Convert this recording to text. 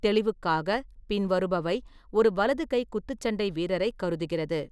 தெளிவுக்காக, பின்வருபவை ஒரு வலது கை குத்துச்சண்டை வீரரைக் கருதுகிறது.